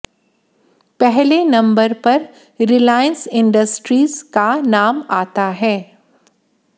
पहले नंबर पर Reliance industries का नाम आता है